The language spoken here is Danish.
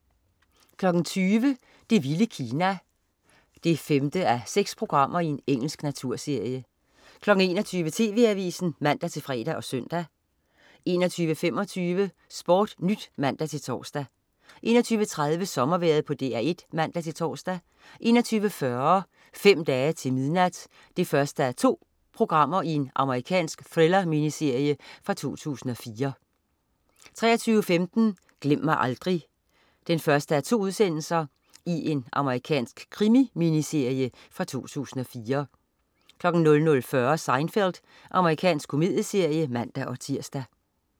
20.00 Det vilde Kina 5:6. Engelsk naturserie 21.00 TV Avisen (man-fre og søn) 21.25 SportNyt (man-tors) 21.30 Sommervejret på DR1 (man-tors) 21.40 Fem dage til midnat 1:2. Amerikansk thriller-miniserie fra 2004 23.15 Glem mig aldrig 1:2. Amerikansk krimi-minserie fra 2004 00.40 Seinfeld. Amerikansk komedieserie (man-tirs)